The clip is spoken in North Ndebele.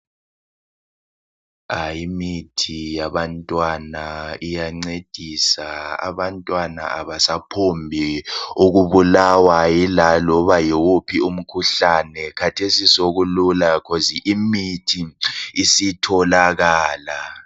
Ay imithi yabantwana iyancedisa abantwana abasaphombi ukubulawa laloba yiwuphi umkhuhlane kathesi sokulula cause imithi isitholakala.